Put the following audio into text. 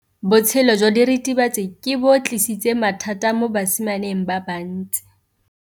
Botshelo jwa diritibatsi ke bo tlisitse mathata mo basimaneng ba bantsi.